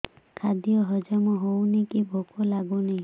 ଖାଦ୍ୟ ହଜମ ହଉନି କି ଭୋକ ଲାଗୁନି